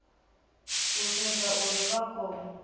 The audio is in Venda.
u sedza uri vha khou